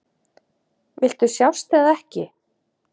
Viltu sjást eða ekki?